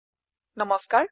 সকলোলৈ নমস্কাৰ